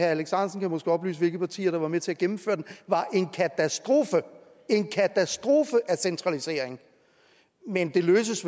alex ahrendtsen kan måske oplyse hvilke partier der var med til at gennemføre den var en katastrofe en katastrofe af centralisering men det løses